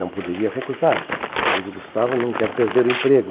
Não poderia recusar, pois o Gustavo não quer perder o emprego.